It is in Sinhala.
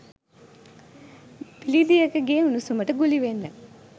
බිලිඳියකගේ උණුසුමට ගුලි වෙන්න